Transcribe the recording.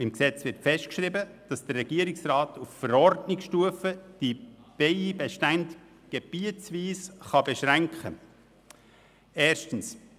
Im Gesetz wird festgeschrieben, dass der Regierungsrat die Bienenbestände auf Verordnungsstufe gebietsweise beschränken kann.